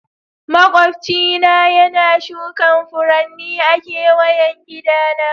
Maƙwabci na yana shukin Furanni a'keweyan gidan sa.